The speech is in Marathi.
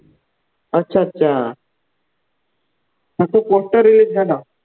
अच्छा अच्छा त्याचं poster release झालं.